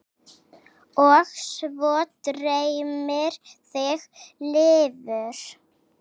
Og svo dreymir þig lifur!